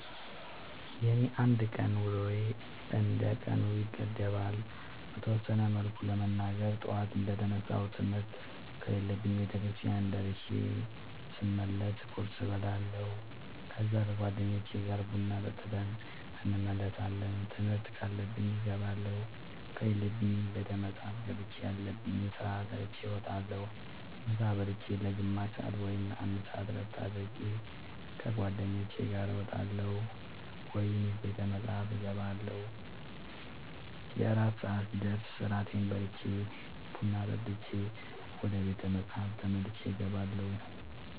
የኔ የአንድ ቀን ውሎዬ እንደ ቀኑ ይገደባል። በተወሰነ መልኩ ለመናገር ጠዋት እንደ ተነሳሁ ትምህርት ከሌለብኝ ቤተክርስቲያን ደርሼ ስመለስ ቁርስ እበላለሁ ከዛ ከ ጓደኞቼ ጋር ቡና ጠጥተን እንመለሳለን ትምህርት ካለብኝ እገባለሁ ከሌለብኝ ቤተ መፅሐፍ ገብቼ ያለብኝን ስራ ሰርቼ እወጣለሁ። ምሳ ብልቼ ለ ግማሽ ሰአት ወይም ለ አንድ ሰአት እረፍት አድርጌ ከ ጓደኞቼ ጋር እወጣለሁ ወይም ቤተ መፅሐፍ እገባለሁ። የእራት ሰአት ሲደርስ እራቴን በልቼ ቡና ጠጥቼ ወደ ቤተ መፅሐፍ ተመልሼ እገባለሁ።